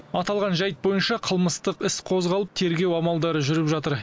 аталған жайт бойынша қылмыстық іс қозғалып тергеу амалдары жүріп жатыр